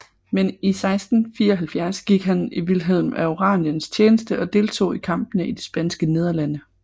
Men i 1674 gik han i Vilhelm af Oraniens tjeneste og deltog i kampene i de Spanske Nederlande